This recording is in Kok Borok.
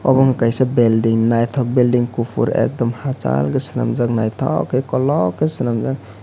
obo wngka kaisa belding naitok belding kopor ekdam hachal ke selamjak naitok ke kolog ke selamjak.